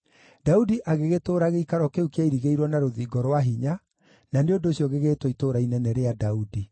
Daudi agĩgĩtũũra gĩikaro kĩu kĩairigĩirwo na rũthingo rwa hinya, na nĩ ũndũ ũcio gĩgĩtwo Itũũra Inene rĩa Daudi.